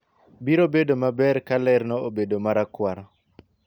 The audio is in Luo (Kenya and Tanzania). biro bedo maber ka lerno obedo marakwar